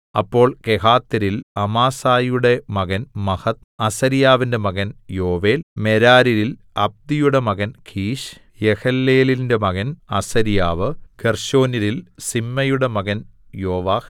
അപ്പോൾ കെഹാത്യരിൽ അമാസായിയുടെ മകൻ മഹത്ത് അസര്യാവിന്റെ മകൻ യോവേൽ മെരാര്യരിൽ അബ്ദിയുടെ മകൻ കീശ് യെഹല്ലെലേലിന്റെ മകൻ അസര്യാവ് ഗേർശോന്യരിൽ സിമ്മയുടെ മകൻ യോവാഹ്